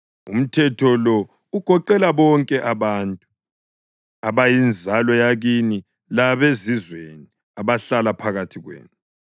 Umthetho lo ugoqela bonke abantu, abayinzalo yakini labezizweni abahlala phakathi kwenu.”